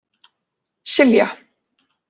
Silja